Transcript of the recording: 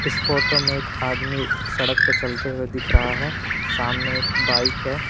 इस फोटो में एक आदमी सड़क पे चलते हुए दिख रहा है सामने एक बाइक है।